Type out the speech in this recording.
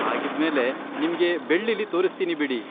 ಹಾಗಿದ್ಮೇಲೆ, ನಿಮ್ಗೆ ಬೆಳ್ಳಿಲಿ ತೋರಿಸ್ತೀನಿ ಬಿಡಿ.